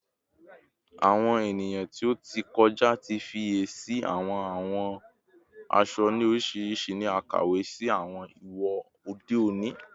Awọn eniyan ti o ti kọja ti fiyesi awọn awọ aṣọ ni oriṣiriṣi ni akawe si awọn iwo ode oni